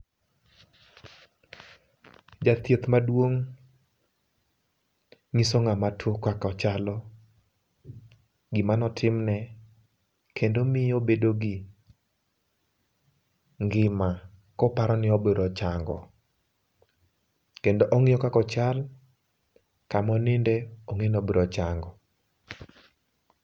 Jathieth maduong' nyiso ng'ama tuo kaka ochalo, gimane otimne kendo miyo obedo gi ngima koparoni obiro chango kendo ongiyo kaka ochal, kama oninde ong'eni obiro chango